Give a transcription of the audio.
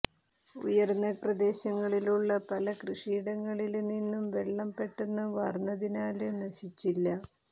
ഉയര്ന്ന പ്രദേശങ്ങളിലുള്ള പല കൃഷിയിടങ്ങളില് നിന്നും വെള്ളം പെട്ടെന്ന് വാര്ന്നതിനാല് നശിച്ചില്ല